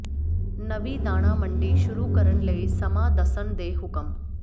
ਨਵੀਂ ਦਾਣਾ ਮੰਡੀ ਸ਼ੁਰੂ ਕਰਨ ਲਈ ਸਮਾਂ ਦੱਸਣ ਦੇ ਹੁਕਮ